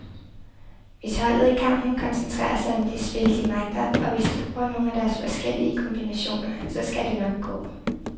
Hvis holdet i kampen koncentrerer sig om det spil, de magter, og hvis de bruger nogle af deres forskellige kombinationer, så skal det nok gå.